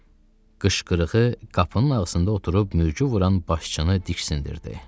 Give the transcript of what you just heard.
Onun qışqırığı qapının ağzında oturub mürgü vuran başçını diksindirdi.